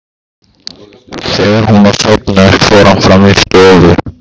Þegar hún var sofnuð fór hann fram í stofu.